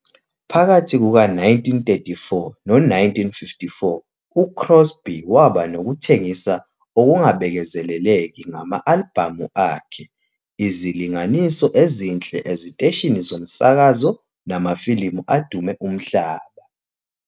Phakathi kuka-1934 no-1954, uCrosby waba nokuthengisa okungabekezeleleki ngama-albhamu akhe, izilinganiso ezinhle eziteshini zomsakazo namafilimu adume umhlaba.